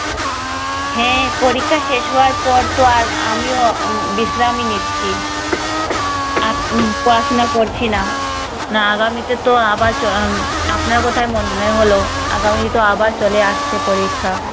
হ্যাঁ পরীক্ষা শেষ হওয়ার পরতো আর আমিও বিশ্রামই নিচ্ছি। আর কি, পড়াশোনা করছি না। না আগামীতেতো আবার চ~ উম আপনার কথা মনে হল, আগামীতো আবার চলে আসছে পরীক্ষা।